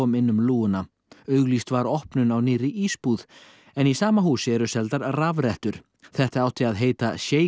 inn um lúguna auglýst var opnun á nýrri ísbúð en í sama húsi eru seldar rafrettur þetta átti að heita